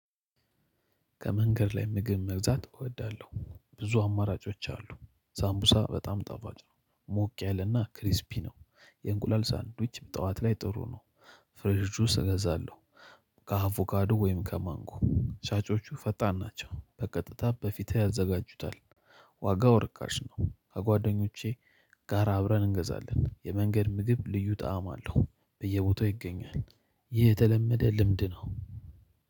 ከመንገድ ላይ ምግብ መግዛት እወዳለሁ ብዙ አማራጮች አሉ። ሳምቡሳ በጣም ጣፍጭ ነው። ሞቅ ያለና ክሪስፒ ነው። የእንቁላል ሳንድዊች ጠዋት ላይ ጥሩ ነው። ፍሬሽ ጁስ እገዛለሁ። ከአቮካዶ ወይም ከማንጎ ሻጮቹ ፈጣን ናቸው በቀጥታ በፊትህ ያዘጋጁታል። ዋጋው ርካሽ ነው። ከጓደኞቼ ጋራ አብረን እንገዛለን። የመንገድ ምግብ ልዩ ጣዕም አለው። በየቦታው ይገኛል። ይህ የተለመደ ልምድ ነው።